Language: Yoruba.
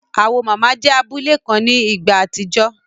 Awo mama jẹ́ abule kan ní ìgbà àtijọ́